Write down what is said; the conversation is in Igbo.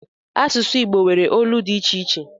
Asụsụ Igbo nwere olu dị iche iche